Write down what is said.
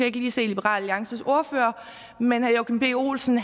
ikke lige se liberal alliances ordfører men herre joachim b olsen